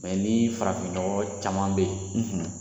ni farafinnɔgɔ caman bɛ yen